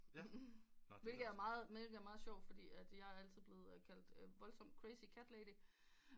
Hvilket er meget sjovt fordi jeg er altid blevet kaldt voldsomt crazt cat lady